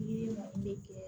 Yiri mun be kɛ